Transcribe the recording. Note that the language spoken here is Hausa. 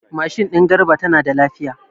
Mashin din Garba tana da lafiya.